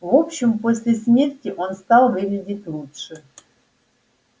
в общем после смерти он стал выглядеть лучше